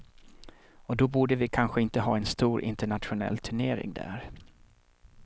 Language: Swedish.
Och då borde vi kanske inte ha en stor internationell turnering där.